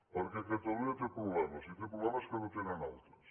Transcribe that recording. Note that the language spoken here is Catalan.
perquè catalunya té problemes i té problemes que no tenen altres